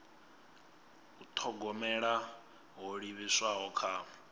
u thogomela ho livhiswaho kha